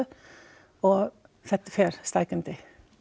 og þetta fer stækkandi